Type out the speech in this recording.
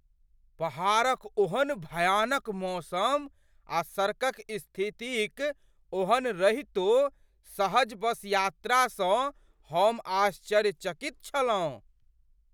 पहाड़क ओहन भयानक मौसम आ सड़कक स्थिति क ओहन रहितो सहज बस यात्रा स हम आश्चर्यचकित छलहुँ ।